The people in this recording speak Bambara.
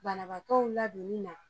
Banabagaw landonni na